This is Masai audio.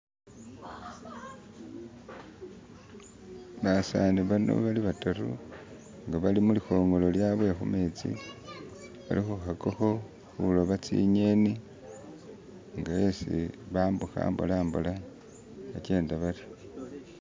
Basani bano bona bari bataru ngaballi mulikhongolo lyabwe khumetsi bali khukhakakho khuloba tsingeni mbo ulisi bambukha mbola mbola bakenda baryo.